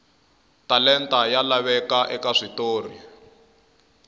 talenta ya laveka eka switori